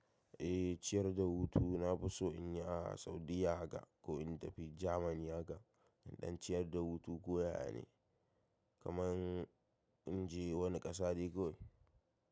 Eh ciyar da hutu na fi so in yi a Saudiyya ga ko in tafi Jamani haka in ɗan ciyar da hutu koyaya ne kaman in je wani ƙasa dai kawai.